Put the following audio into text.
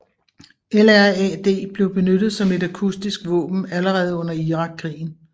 LRAD blev benyttet som et akustisk våben allerede under Irakkrigen